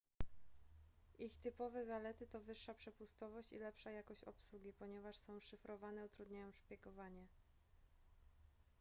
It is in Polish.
ich typowe zalety to wyższa przepustowość i lepsza jakość obsługi ponieważ są szyfrowane utrudniają szpiegowanie